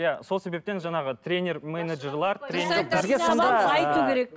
иә сол себептен жаңағы треньер менеджерлер